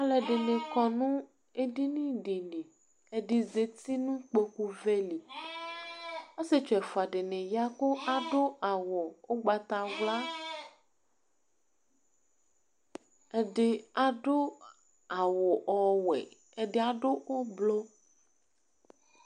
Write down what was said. ɑlụɛḍikɔ ɲu ɛɗiɲiɗi ɛɗizɑti nuĩkpõkụvẽli ɑsiɛtsu ɛfụɑ ɗiɲiyɑ 'kω ɑɗụ ɑwʊ ũgbɑtɑwlɑ ɛɗi ɑwũ ɔwẽ ǝɗi ɑɗụ ũblu